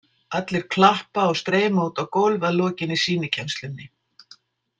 Allir klappa og streyma út á gólf að lokinni sýnikennslunni.